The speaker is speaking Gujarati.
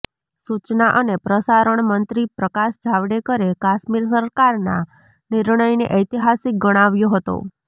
સૂચના અને પ્રસારણ મંત્રી પ્રકાશ જાવડેકરે કાશ્મીર સરકારના નિર્ણયને ઐતિહાસિક ગણાવ્યો હતો